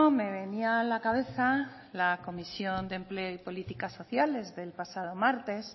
me venía a la cabeza la comisión de empleo y políticas sociales del pasado martes